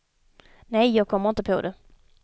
Nej, jag kommer inte på det.